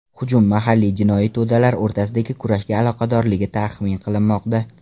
Hujum mahalliy jinoiy to‘dalar o‘rtasidagi kurashga aloqadorligi taxmin qilinmoqda.